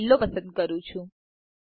હું લીલો પસંદ કરું છું